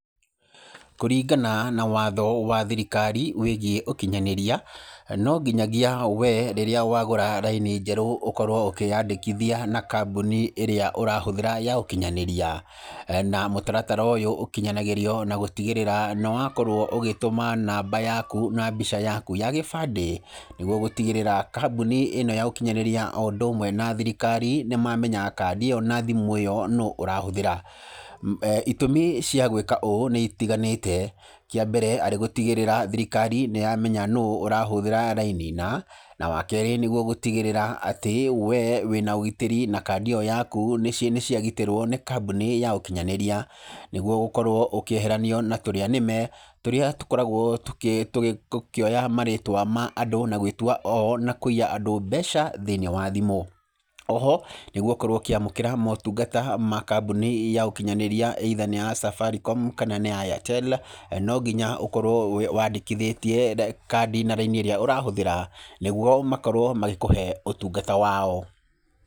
Kũringana na watho wa thirikari wĩgiĩ ũkinyanĩria, no nginyagia we rĩrĩa wagũra raini njerũ ũkorwo ũkĩandĩkithia na kambuni ĩrĩa ũrahũthĩra ya ũkinyanĩria. Na mutaratara ũyũ ũkinyanagĩrio na gũtigĩrĩra nĩ wakorwo ũgĩtũma namba yaku na mbica yaku ya gĩbandĩ nĩguo gũtigĩrĩra kambuni ĩno ya ũkinyanĩria o ũndũ umwe na thirikari nĩ mamenya kandi ĩyo na thimũ ĩyo nũ ũrahũthĩra. Itũmi cia gwĩka ũũ nĩ itiganĩte, kĩa mbere arĩ gũtigĩrĩra thirikari ni yamenya nũ ũrahũthĩra raini na wa keerĩ nĩguo gũtigĩrĩra atĩ we wĩ na ũgitĩri na kandi ĩyo yaku nĩ ciagitĩrwo nĩ kambuni ya ũkinyanĩria, nĩguo gũkorwo ũkĩeheranio na tũrĩanĩme tũrĩa tũkoragwo tũkĩoya marĩtwa ma andũ na gwĩtua oo na kũiya andũ mbeca thĩinĩ wa thimũ. O ho nĩ gũkorwo ũkĩamũkĩra motungata ma kambuni ya ũkinyanĩria, either nĩ ya Safaricom kana nĩ ya Airtel, no nginya ũkorwo wandĩkithĩtie kandi na raini ĩrĩa ũrahũthĩra nĩguo makorwo magĩkũhe ũtungata wao.